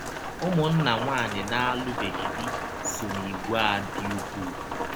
Ụmụnna nwaanyị na - alụbeghị di so n’ìgwè a dị ụkwụụ.